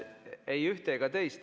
Ei ühte ega teist.